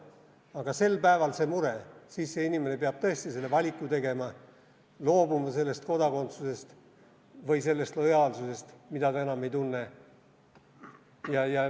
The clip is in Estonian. Aga sel päeval, kui see inimene peab tõesti selle valiku tegema, peab ta loobuma sellest kodakondsusest või sellest lojaalsusest, mida ta enam ei tunne.